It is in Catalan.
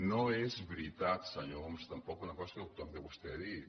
no és veritat senyor homs tampoc una cosa que també vostè ha dit